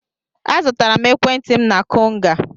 Azụtara m ekwentị m na Konga.